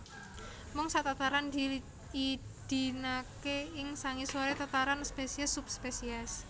Mung sak tataran diidinaké ing sangisoré tataran spesies subspesies